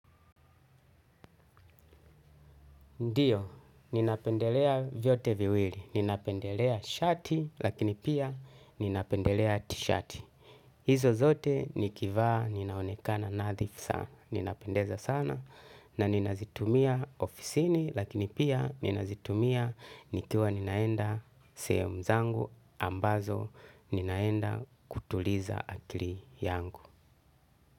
Ndio ninapendelea vyote viwili, ninapendelea shati lakini pia ninapendelea tishati. Hizo zote nikivaa ninaonekana nadhifu sana. Ninapendeza sana na ninazitumia ofisini lakini pia ninazitumia nikiwa ninaenda sehemu zangu ambazo ninaenda kutuliza akili yangu.